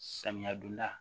Samiya donda